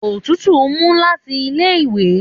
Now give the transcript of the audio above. Òtútù mu láti ilé ìwé